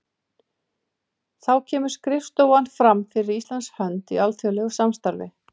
Þá kemur skrifstofan fram fyrir Íslands hönd í alþjóðlegu samstarfi.